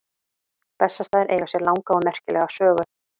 Bessastaðir eiga sér langa og merkilega sögu.